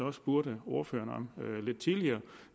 også spurgte ordføreren om lidt tidligere